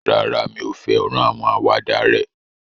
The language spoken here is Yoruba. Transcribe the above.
Rárá, mi ò fẹ́ràn àwọn àwàdà rẹ̀